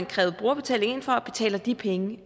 krævet brugerbetaling ind fra og betaler de penge